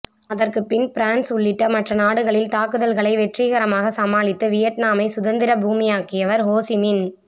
அதற்கு பின் பிரான்ஸ் உள்ளிட்ட மற்ற நாடுகளில் தாக்குதல்களை வெற்றிகரமாக சமாளித்து வியட்நாமை சுதந்திர பூமியாக்கியவர் ஹோசிமின்